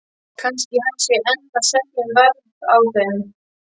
Kannski hann sé enn að semja um verð á þeim.